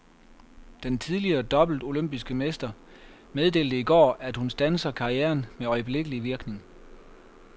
Den tidligere dobbelte olympiske mester meddelte i går, at hun standser karrieren med øjeblikkelig virkning.